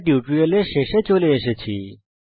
টিউটোরিয়ালের শেষে চলে এসেছি